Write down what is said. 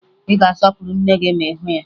Ị ga-asọpụrụ nne gị ma ị hụ ya